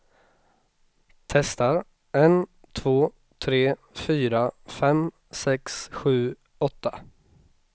Testar en två tre fyra fem sex sju åtta.